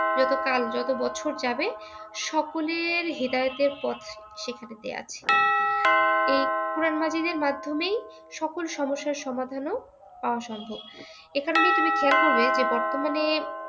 যত কাল যত বছর যাবে সকলের হেদায়েতের পথ সেখানে দেয়া আছে । এই কোরআন মাজীদের মাধ্যমেই সকল সমস্যার সমাধানও পাওয়া সম্ভব । এইখানেই তুমি খেয়াল করবে যে বর্তমানে